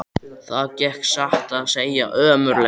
Það gekk satt að segja ömurlega.